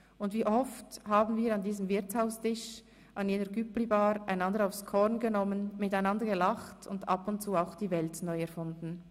Und wie oft haben wir an diesem Wirtshaustisch, an jener Cüpli-Bar einander aufs Korn genommen, miteinander gelacht und ab und zu auch die Welt neu erfunden.